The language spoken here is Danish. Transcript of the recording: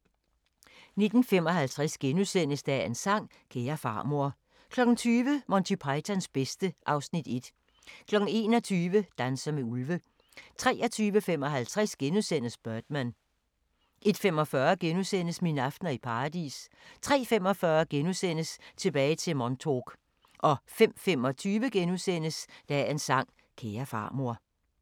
19:55: Dagens sang: Kære farmor * 20:00: Monty Pythons bedste (Afs. 1) 21:00: Danser med ulve 23:55: Birdman * 01:45: Mine aftener i Paradis * 03:45: Tilbage til Montauk * 05:25: Dagens sang: Kære farmor *